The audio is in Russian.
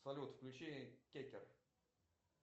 салют включи кекер